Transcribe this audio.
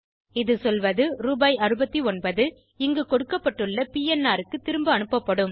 இது சொல்வது ரூபாய்69 இங்கு கொடுக்கப்பட்டுள்ள பிஎன்ஆர் க்கு திரும்ப அனுப்பப்படும்